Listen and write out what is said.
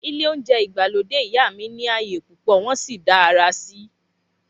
Ilé óúnjẹ ìgbàlódé ìyá mi ní ààyè púpò wọn sì dá àrà síi